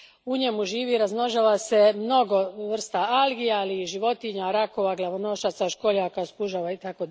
U njemu živi i razmnožava se mnogo vrsta algi, ali i životinja, rakova, glavonožaca, školjaka, spužava itd.